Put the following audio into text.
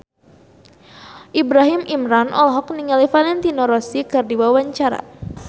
Ibrahim Imran olohok ningali Valentino Rossi keur diwawancara